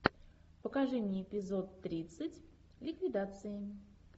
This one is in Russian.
покажи мне эпизод тридцать ликвидации